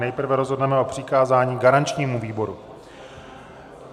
Nejprve rozhodneme o přikázání garančnímu výboru.